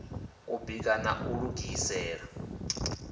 u bika na u lugisela